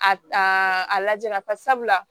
A a lajɛ lafasa